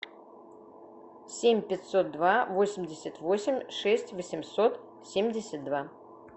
семь пятьсот два восемьдесят восемь шесть восемьсот семьдесят два